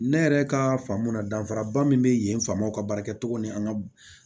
Ne yɛrɛ ka faamu na danfara ba min bɛ yen faamaw ka baarakɛcogo ni an ka